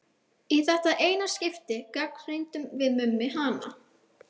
Í þetta eina skipti gagnrýndum við Mummi hana.